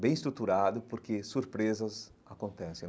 bem estruturado, porque surpresas acontecem.